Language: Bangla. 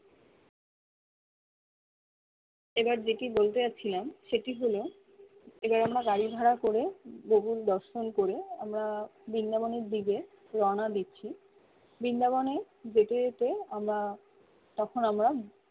এবার যেকি বলতে চাচ্ছিলাম সেটি হলো এবার আমরা গাড়ি ভাড়া করে গোকুল দর্শন করে আমরা বিন্দাবনের দিকে রওনা দিচ্ছি বিন্দা বনে যেতে যেতে আমরা তখন আমরা